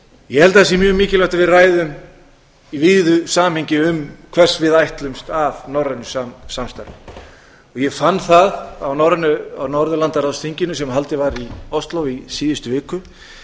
að sé mjög mikilvægt að við ræðum í víðu samhengi um hvers við ætlumst af norrænu samstarfi ég fann það á norðurlandaráðsþinginu sem haldið var í ósló í síðustu viku að það